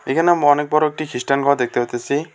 এখানে আমি অনেক বড়ো একটি খ্রিস্টান ঘর দেখতে পাইতাসি।